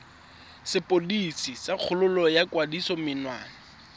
sepodisi sa kgololo ya kgatisomenwa